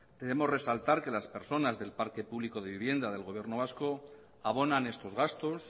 queremos resaltar que las personas del parque público de vivienda del gobierno vasco abonan estos gastos